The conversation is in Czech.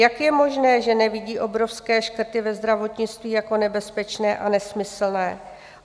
Jak je možné, že nevidí obrovské škrty ve zdravotnictví jako nebezpečné a nesmyslné?